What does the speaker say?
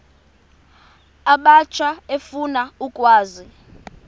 abatsha efuna ukwazi